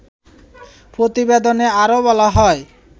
প্রতিবেদনে আরো বলা হয়